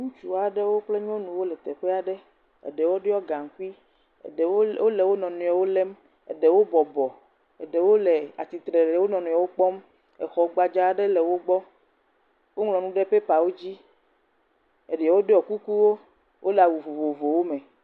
Ŋutsua ɖewo kple nyɔnua ɖewo le teƒea ɖe, eɖewo ɖiɔ gaŋkui, eɖewo wole wo nɔnɔewo lém, eɖewo bɔbɔ, eɖewo le atitre le wo nɔnɔewo kpɔm, exɔ gbadza ɖe le wo gbɔ, wo ŋlɔ nu ɖe pɛpawo dzi, eɖewo ɖɔ kukuwo, wole awu vovovowo me.